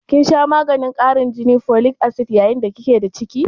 kin sha maganin karin jini (folic acid) yayin da ki ke da ciki?